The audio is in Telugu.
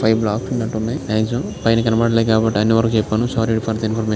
ఫైవ్ బ్లాక్స్ ఉన్నట్టు ఉన్నాయి మాక్సిమం పైన ఎవరికి కనపడలేదు కాబట్టి అన్ని వరికి చెప్పాను సారీ ఫర్ ది ఇన్ఫర్మేషన్ .